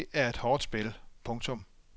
Ishockey er et hårdt spil. punktum